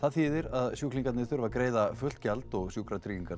þýðir að sjúklingarnir þurfa að greiða fullt gjald og Sjúkratryggingar